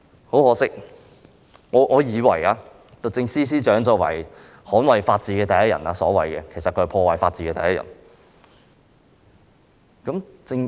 很可惜，我以為律政司司長是所謂捍衞法治的第一人，但其實她是破壞法治的第一人。